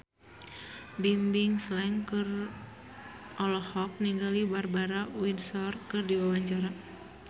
Bimbim Slank olohok ningali Barbara Windsor keur diwawancara